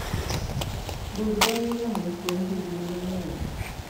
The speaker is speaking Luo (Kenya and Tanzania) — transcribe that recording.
bur dongoga mos kuom higni mang'eny